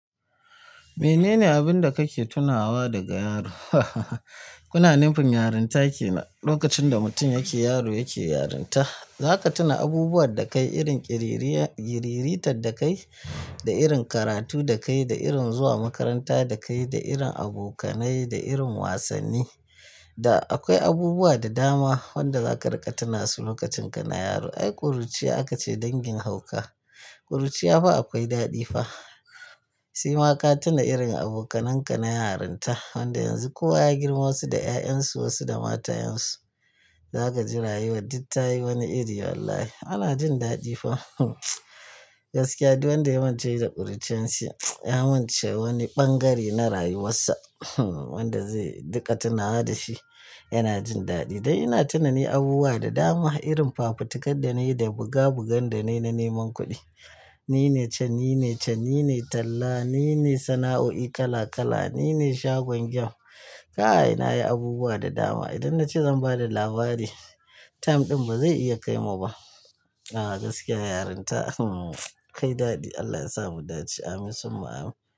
Menene abin da kake tunawa daga yaro? Kuna nufin yarinta kenan, lokacin da mutum yake yaro yake yarinta. Za ka tuna abubuwan da ka yi irin ƙiriniya, ƙiriritar da ka yi, da irin karatu da ka yi, da irin zuwa makaranta da ka yi, da irin abokanai, da irin wasanni. Da akwai abubuwa da dama wanda za ka riƙa tuna su lokacin kana yaro. Ai ƙuruciya aka ce dangin hauka. Ƙuruciya fa akwai daɗi fa. Sema ka tuna irin abokananka na yarinta, wanda yanzu kowa ya girma wasu da 'ya'yansu, wasu da matayansu. Za ka ji rayuwar dittayi wani iri wallahi, ana jin daɗi fa. Gaskiya, duk wanda ya mance da ƙuruciyan shi ya mance wani ɓangare na rayuwarsa wanda zai duka tunawa da shi, yana jin daɗi. Ai ina tina ni abubuwa da dama irin fafutakar danayi, da buga bugan danayi na neman kuɗi. Ni ne can, ni ne can, ni ne talla, ni ne sana'o'i kala kala, ni ne shagon game. Ka ai na yi abubuwa da dama. Idan na ce zan ba da labari, time ɗin ba zai iya kaimu ba. A'a gaskiya yarinta kai daɗi. Allah ya sa mu daɗi. Amin summa amin.